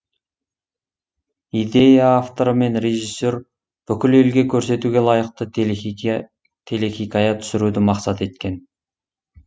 идея авторы мен режиссер бүкіл елге көрсетуге лайықты телехикая түсіруді мақсат еткен